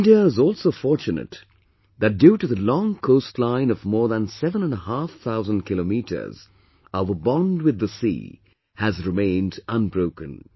India is also fortunate that due to the long coastline of more than seven and a half thousand kilometers 7500 km, our bond with the sea has remained unbroken